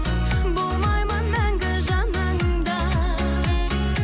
болмаймын мәңгі жаныңда